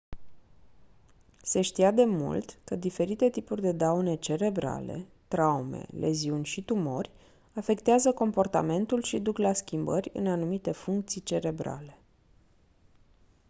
se știa de mult că diferite tipuri de daune cerebrale traume leziuni și tumori afectează comportamentul și duc la schimbări în anumite funcții cerebrale